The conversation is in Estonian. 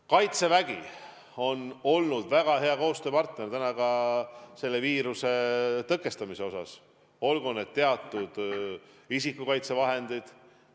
Kaitsevägi on olnud väga hea koostööpartner ka selle viiruse tõkestamisel, olgu siis teemaks teatud isikukaitsevahendid.